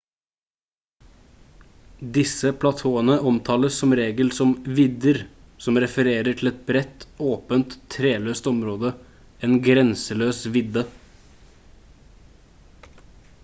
disse platåene omtales som regel som «vidder» som refererer til et bredt åpent treløst område en grenseløs vidde